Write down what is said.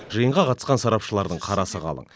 жиынға қатысқан сарапшылардың қарасы қалың